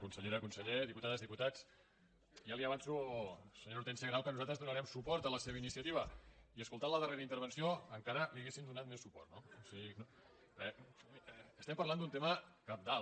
consellera conseller diputades diputats ja li avanço senyora hortènsia grau que nosaltres donarem suport a la seva iniciativa i escoltant la darrera intervenció encara li hauríem donat més suport no o sigui eh estem parlant d’un tema cabdal